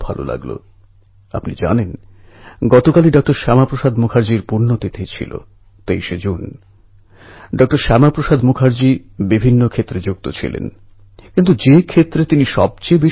বন্ধুগণ আষাঢ় মাসের একাদশী যেটা এবছর ২৩শে জুলাই তারিখে ছিল এই দিনে পণ্ঢরপুরের পুণ্যযাত্রা জাঁকজমকের সঙ্গে পালিত হয়